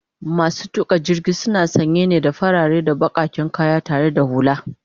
masu tuƙa jirgin na sanye ne da farare da bakaken kaya tare da hulla